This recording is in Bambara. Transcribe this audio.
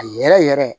A yɛrɛ yɛrɛ